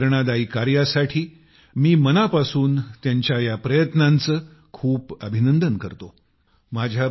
त्यांच्या या प्रेरणादायी कार्यासाठी मी मनापासून त्यांच्या या प्रयत्नांचे खूप अभिनंदन करतो